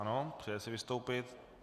Ano, přeje si vystoupit.